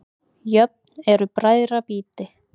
Jöfn eru bræðra býti.